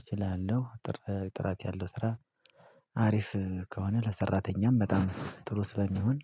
እችላለሁ። ጥራት ያለው ስራ አሪፍ ከሆነ ለሰራተኛም በጣም ጥሩ ስለሚሆን።